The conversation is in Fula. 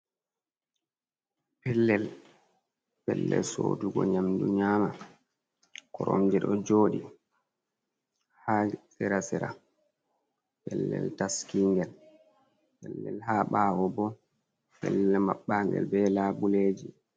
Pellel, pellel sodugo nyamdu nyama. Koromje ɗo joɗi ha sera-sera pellel taski'ngel. Ha ɓawo bo, pellel maɓɓa'ngel ɓe labuleji.